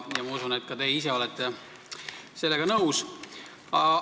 Ma usun, et ka teie ise olete sellega nõus.